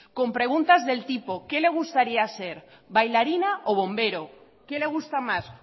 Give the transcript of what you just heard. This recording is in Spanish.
con preguntas del tipo qué le gustaría ser bailarina o bombero qué le gusta más